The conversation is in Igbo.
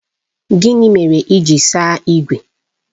Gịnị mere ị ji saa ígwè?